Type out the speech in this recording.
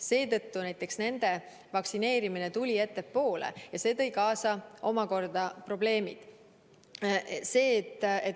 Seetõttu nende vaktsineerimine tuli ettepoole ja see tõi kaasa probleeme.